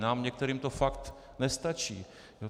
Nám některým to fakt nestačí.